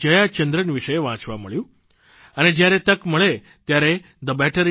જયાચંદ્રન વિશે વાંચવા મળ્યું અને જ્યારે તક મળે ત્યારે thebetterindia